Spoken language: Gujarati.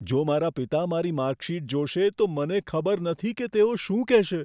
જો મારા પિતા મારી માર્કશીટ જોશે, તો મને ખબર નથી કે તેઓ શું કહેશે.